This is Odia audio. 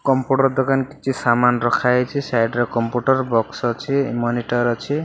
କମ୍ପୁଟର ଦୋକାନ କିଛି ସାମାନ୍ ରଖା ହେଇଛି। ସାଇଡ ରେ କମ୍ପୁଟର ବକ୍ସ ଅଛି ମନିଟର ଅଛି।